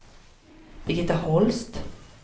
Birgitta Holst